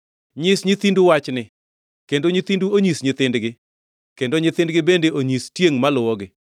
Nyis nyithindu wachni, kendo nyithindu onyis nyithindgi, kendo nyithindgi bende onyis tiengʼ maluwogi.